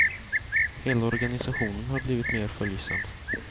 Hela organisationen har blivit mer följsam.